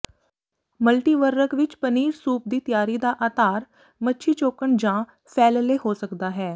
ਮਲਟੀਵਰਰਕ ਵਿੱਚ ਪਨੀਰ ਸੂਪ ਦੀ ਤਿਆਰੀ ਦਾ ਆਧਾਰ ਮੱਛੀ ਚੋਕਣ ਜਾਂ ਫੈਲਲੇ ਹੋ ਸਕਦਾ ਹੈ